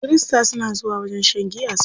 Kirista suna zuwa wajen shan giya su sha.